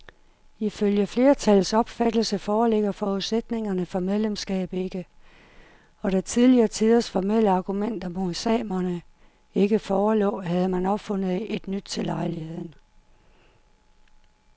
Ifølge flertallets opfattelse foreligger forudsætningerne for medlemskab ikke, og da tidlige tiders formelle argumenter mod samerne ikke forelå, havde man opfundet et nyt til lejligheden.